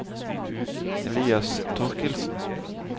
Elias Torkildsen